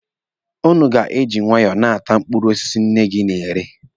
Ụnụ ga-eji nwaayọ na-ata mkpụrụ osisi nne gị na-ere.